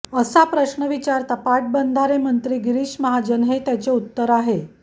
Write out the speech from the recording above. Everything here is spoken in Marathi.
असा प्रश्न विचारता पाटबंधारे मंत्री गिरीश महाजन हे त्याचे उत्तर आहे